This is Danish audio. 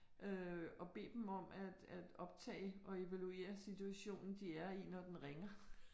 Øh og bed dem om at at optage og evaluere situationen, de er i, når den ringer